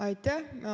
Aitäh!